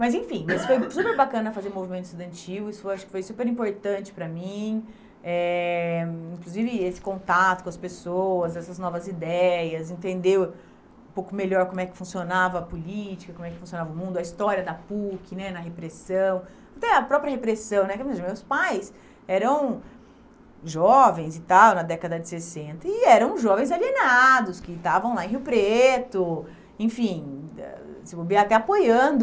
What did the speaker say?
Mas, enfim, foi super super bacana fazer o Movimento Estudantil, isso foi acho que foi super importante para mim, eh inclusive esse contato com as pessoas, essas novas ideias, entender um pouco melhor como é que funcionava a política, como é que funcionava o mundo, a história da PUC, né na repressão, até a própria repressão, porque meus pais eram jovens e tal, na década de sessenta, e eram jovens alienados, que estavam lá em Rio Preto, enfim, se bobear, até apoiando